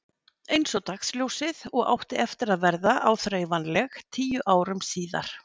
Einsog dagsljósið og átti eftir að verða áþreifanleg tíu árum síðar.